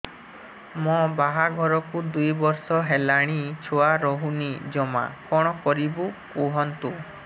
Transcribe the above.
ମୋ ବାହାଘରକୁ ଦୁଇ ବର୍ଷ ହେଲାଣି ଛୁଆ ରହୁନି ଜମା କଣ କରିବୁ କୁହନ୍ତୁ